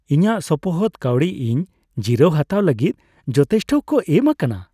ᱤᱧᱟᱹᱜ ᱥᱚᱯᱚᱦᱚᱫ ᱠᱟᱹᱣᱰᱤ ᱤᱧ ᱡᱤᱨᱟᱹᱣ ᱦᱟᱛᱟᱣ ᱞᱟᱹᱜᱤᱫ ᱡᱚᱛᱷᱮᱥᱴᱚ ᱠᱚ ᱮᱢ ᱟᱠᱟᱱᱟ ᱾